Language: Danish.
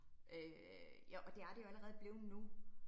Øh ja, og det er det jo allerede blevet nu